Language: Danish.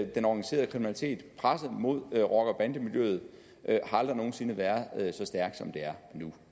den organiserede kriminalitet presset mod rocker bande miljøet har aldrig nogen sinde været så stærkt som det er nu